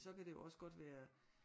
Så kan det jo også godt være